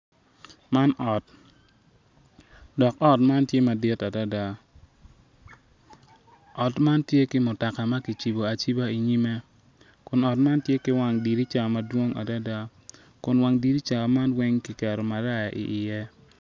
Man ot dok ot man tye madit adada ot man tye ki mutoka ma kicibo aciba inyime kun ot man tye ki wang dirija madwong adada kun wang dirija man weng kiketo maraya iye.